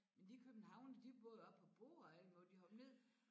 Men de københavnere de både oppe på broer og alt muligt de hoppede ned